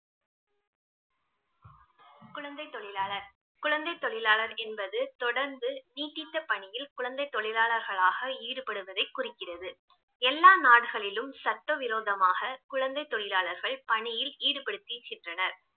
குழந்தை தொழிலாளர், குழந்தை தொழிலாளர் என்பது தொடர்ந்து நீட்டித்த பணியில் குழந்தை தொழிலாளர்களாக ஈடுபடுவதை குறிக்கிறது. எல்லா நாட்களிலும் சட்டவிரோதமாக குழந்தை தொழிலாளர்கள் பணியில் ஈடுபடுத்திகின்றனர்